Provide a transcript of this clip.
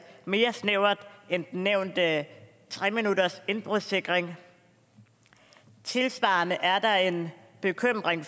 mere snævert end den nævnte tre minuttersindbrudssikring tilsvarende er der en bekymring